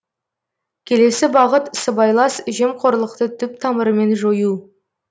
келесі бағыт сыбайлас жемқорлықты түп тамырымен жою